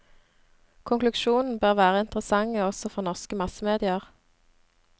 Konklusjonene bør være interessante også for norske massemedier.